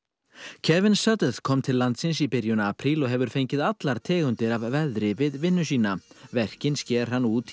Kevin kom til landsins í byrjun apríl og hefur fengið allar tegundir af veðri við vinnu sína verkin sker hann út í